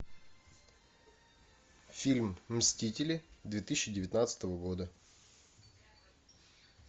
фильм мстители две тысячи девятнадцатого года